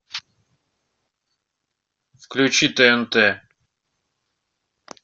включи тнт